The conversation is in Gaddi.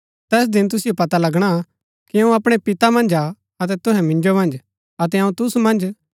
तैस दिन तुसिओ पता लगणा कि अऊँ अपणै पिता मन्ज हा अतै तुहै मिन्जो मन्ज अतै अऊँ तुसु मन्ज